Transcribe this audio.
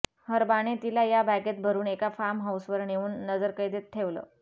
हर्बाने तिला या बॅगेत भरून एका फार्म हाऊसवर नेऊन नजरकैदेत ठेवलं